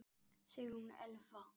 Sigrún Elfa.